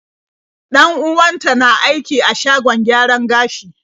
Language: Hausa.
Dan-uwanta na aiki a shagon gyaran gashi.